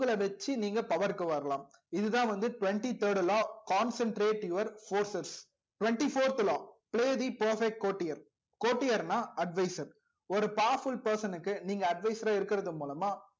வச்சி நீங்க power க்கு வரலாம் இதுதா வந்து twenty third law concentrate your forces twenty fourth law play the perfect quotior quotior நா advisor ஒரு powerful person க்கு நீங்க advisor ரா இருக்கறது மூலமா